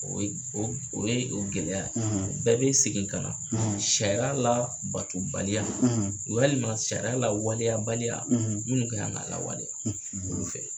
O ye o ye o gɛlɛya bɛɛ bɛ segin ka na sariya la bato baliya walima sariya la waleya baliya minnu ka kan ka lawaleya.